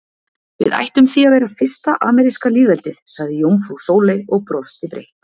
Við ættum því að vera fyrsta ameríska lýðveldið, sagði jómfrú Sóley og brosti breitt.